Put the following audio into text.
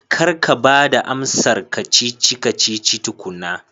Kar ka ba da amsar ka-cici-kacici tukuna